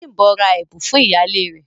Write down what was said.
Bímbò rà ẹ̀bùn fún iyálẹ rè.